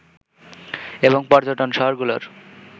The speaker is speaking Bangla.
এবং পর্যটন শহরগুলোর